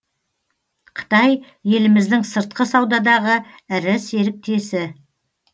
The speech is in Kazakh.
қытай еліміздің сыртқы саудадағы ірі серіктесі